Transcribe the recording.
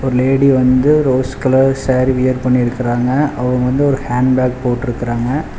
ஒரு லேடி வந்து rose colour sari wear பண்ணிருக்குறாங்க அவங்க வந்த ஒரு ஹேண்ட் பேக் போட்ருக்குறாங்க.